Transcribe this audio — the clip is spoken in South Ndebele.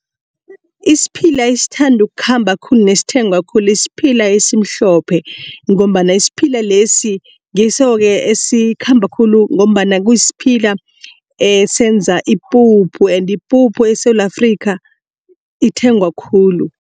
Isiphila esithandwa ukukhamba khulu nesithengwa khulu isiphila esimhlophe. Ngombana isiphila lesi ngiso ke esikhamba khulu ngombana kusiphila esenza ipuphu kanti ipuphu eSewula Afrika ithengwa khulu.